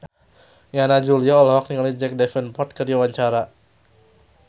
Yana Julio olohok ningali Jack Davenport keur diwawancara